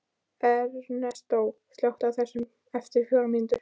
Ernestó, slökktu á þessu eftir fjórar mínútur.